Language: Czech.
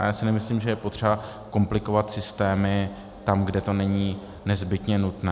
A já si nemyslím, že je potřeba komplikovat systémy tam, kde to není nezbytně nutné.